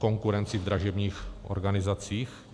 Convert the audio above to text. Konkurenci v dražebních organizacích?